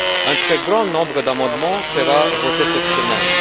Un très grand nombre d'amendements sera voté cette semaine.